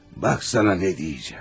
Bax sənə nə deyəcəyəm.